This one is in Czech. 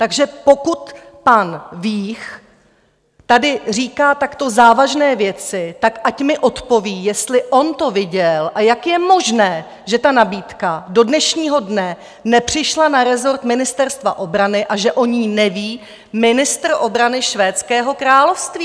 Takže pokud pan Vích tady říká, takto závažné věci, tak ať mi odpoví, jestli on to viděl, a jak je možné, že ta nabídka do dnešního dne nepřišla na rezort Ministerstva obrany a že o ní neví ministr obrany Švédského království!